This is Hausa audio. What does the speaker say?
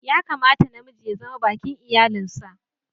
Ya kamata na miji ya zama baki'n iyallin sa.